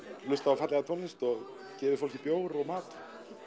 hlustað á fallega tónlist og gefið fólki bjór og mat